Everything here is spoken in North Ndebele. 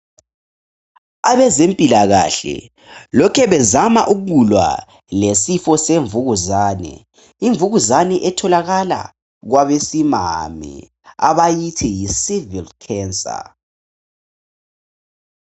Abezempilakahle lokhu bezama ukulwa lesifo zemvukuzane, imvukuzane etholakala kwabesimame abayithi yisivikhi khensa.